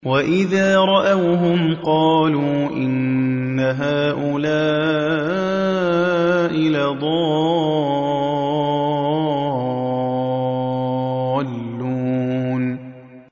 وَإِذَا رَأَوْهُمْ قَالُوا إِنَّ هَٰؤُلَاءِ لَضَالُّونَ